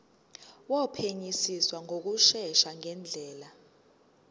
wophenyisiso ngokushesha ngendlela